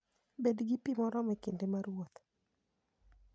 Bed gi pi moromo e kinde mar wuoth.